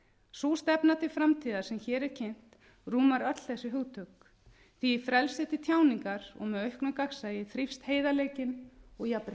sú stefna til framtíðar sem hér er kynnt rúmar öll þessi hugtök því að í frelsi til tjáningar og auknu gagnsæi þrífst heiðarleikinn og